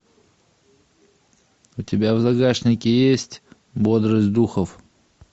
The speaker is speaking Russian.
у тебя в загашнике есть бодрость духов